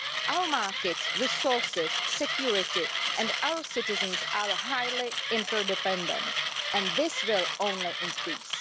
Our markets, resources, security and citizens are highly interdependent, and this will only increase.